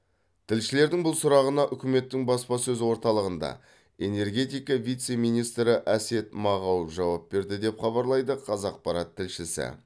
тілшілердің бұл сұрағына үкіметтің баспасөз орталығында энергетика вице министрі әсет мағауов жауап берді деп хабарлайды қазақпарат тілшісі